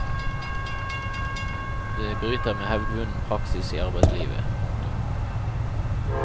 Det bryter med hevdvunnen praksis i arbeidslivet. punktum